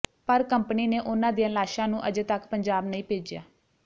ਪਰ ਕੰਪਨੀ ਨੇ ਉਨ੍ਹਾਂ ਦੀਆਂ ਲਾਸ਼ਾਂ ਨੂੰ ਅਜੇ ਤੱਕ ਪੰਜਾਬ ਨਹੀਂ ਭੇਜਿਆ